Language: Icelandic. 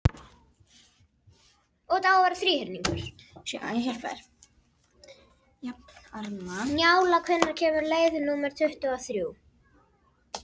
Njála, hvenær kemur leið númer tuttugu og þrjú?